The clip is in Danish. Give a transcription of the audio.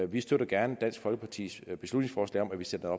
vi støtter gerne dansk folkepartis beslutningsforslag om at vi sætter